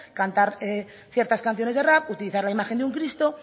cantar ciertas canciones de rap utilizar la imagen de un cristo